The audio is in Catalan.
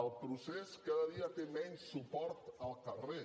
el procés cada dia té menys suport al carrer